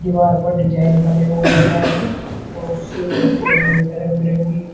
दीवार पर डिजाइन बने हुए हैं तो उसे लाइट लगी हुई है रंग बिरंगी।